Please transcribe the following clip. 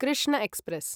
Krishna express